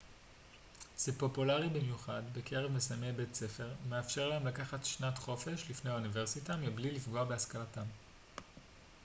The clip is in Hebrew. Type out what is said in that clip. זה פופולרי במיוחד בקרב מסיימי בית ספר ומאפשר להם לקחת שנת חופש לפני האוניברסיטה מבלי לפגוע בהשכלתם